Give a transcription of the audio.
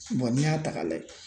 n'i y'a ta ka lajɛ